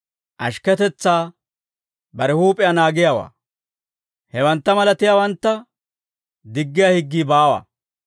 ashikketetsaa, bare huup'iyaa naagiyaawaa. Hewantta malatiyaawantta diggiyaa higgii baawa.